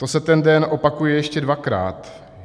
To se ten den opakuje ještě dvakrát.